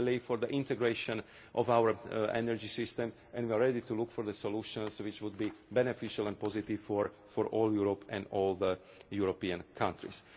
We believe in the integration of our energy systems and we are ready to look for solutions which would be beneficial and positive for the whole of Europe and all European countries.